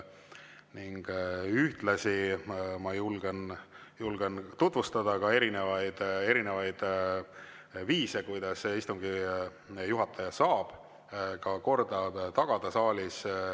Ühtlasi ma julgen tutvustada neid viise, kuidas istungi juhataja saab saalis korda tagada.